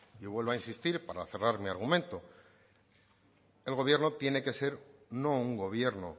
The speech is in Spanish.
y vuelvo a insistir para cerrar mi argumento el gobierno tiene que ser no un gobierno